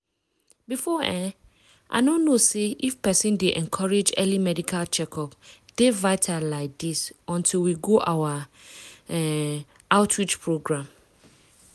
before um i no know say say if persin dey encourage early medical checkup dey vital like this until we go our um outreach program.